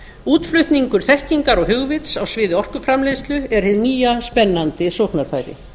útflutningur þekkingar og hugvits á sviði orkuframleiðslu er hið nýja spennandi sóknarfæri